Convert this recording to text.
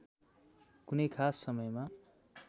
कुनै खास समयमा